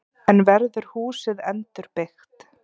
En verður húsið endurbyggt?